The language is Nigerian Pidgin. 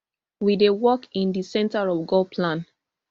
we dey work in di centre of god plan